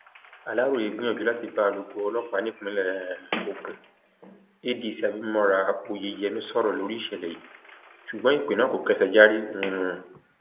aláròye gbìyànjú láti bá alūkkóró ọlọpàá nípìnlẹ um ogun adc abimora oyeyèmí sọrọ lórí ìṣẹlẹ yìí ṣùgbọn ìpè náà kò kẹṣẹjárí um